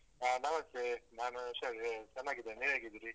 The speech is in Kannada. ಹಾ ನಮಸ್ತೇ ನಾನು ಹುಷಾರಿ ದ್ದೇನೆ ಚೆನ್ನಾಗಿದ್ದೇನೆ ನೀವ್ ಹೇಗಿದ್ದೀರಿ.